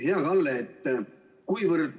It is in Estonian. Hea Kalle!